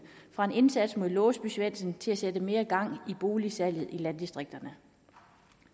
fra en indsats mod låsby svendsen til at sætte mere gang i boligsalget i landdistrikterne